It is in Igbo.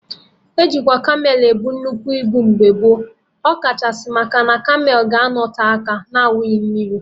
E jikwa kamel ebu nnukwu ibu mgbe gboo, ọ kachasị maka na kamel ga-anọte aka na-aṅụrọ mmiri